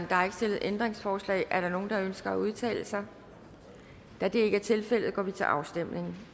der er ikke stillet ændringsforslag er der nogen der ønsker at udtale sig da det ikke er tilfældet går vi til afstemning